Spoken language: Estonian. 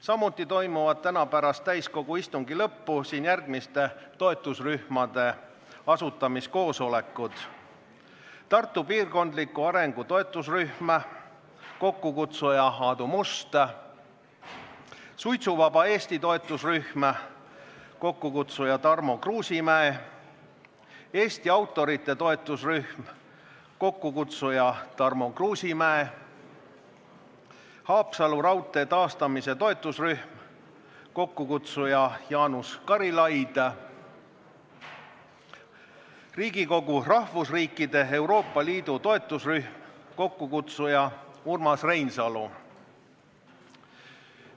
Samuti toimuvad täna pärast täiskogu istungi lõppu siin järgmiste toetusrühmade asutamiskoosolekud: Tartu piirkondliku arengu toetusrühm, kokkukutsuja Aadu Must; suitsuvaba Eesti toetusrühm, kokkukutsuja Tarmo Kruusimäe; Eesti autorite toetusrühm, kokkukutsuja Tarmo Kruusimäe; Haapsalu raudtee taastamise toetusrühm, kokkukutsuja Jaanus Karilaid; rahvusriikide Euroopa Liidu toetusrühm, kokkukutsuja Urmas Reinsalu.